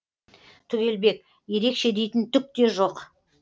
түгелбек ерекше дейтін түк те жоқ